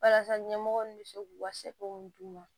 Walasa ɲɛmɔgɔw bɛ se k'u ka sɛko d'u ma